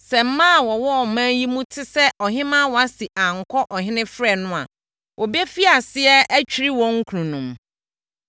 Sɛ mmaa a wɔwɔ ɔman yi mu te sɛ ɔhemmaa Wasti ankɔ ɔhene frɛ no a, wɔbɛfiri aseɛ atwiri wɔn kununom.